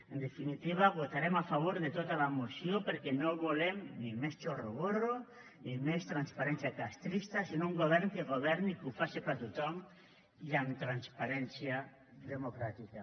en definitiva votarem a favor de tota la moció perquè no volem ni més chorroborro ni més transparència castrista sinó un govern que governi i que ho faci per a tothom i amb transparència democràtica